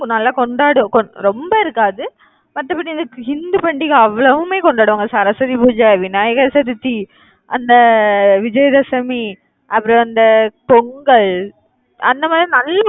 நல்லா கொண்டாடுவோம் ரொம்ப இருக்காது மத்தப்படி இந்து பண்டிகை அவ்வளவுமே கொண்டாடுவாங்க. சரஸ்வதி பூஜை, விநாயகர் சதுர்த்தி, அந்த அஹ் விஜயதசமி, அப்புறம் அந்த அஹ் பொங்கல், அந்த மாதிரி நல்லா